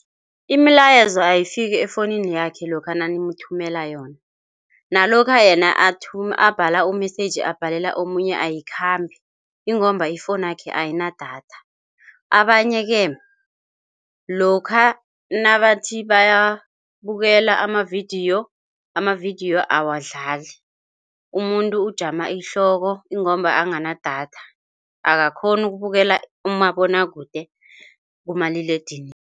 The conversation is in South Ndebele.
Imilayezo ayifiki efowunini yakhe lokha nanimthumela yona nalokha yena athume abhala u-message abhalela omunye ayikhambi ingomba ifowunakhe ayina datha. Abanye-ke lokha nabathi babukela amavidiyo amavidiyo awadlali. Umuntu ujama ihloko ingomba akanadatha, akakghoni ukubukela umabonwakude kumaliledinini.